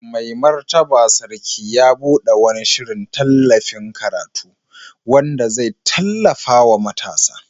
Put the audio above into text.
Mai Martaba Sarki ya bude wani shirin tallafin karatu wanda zai tallafa wa matasa.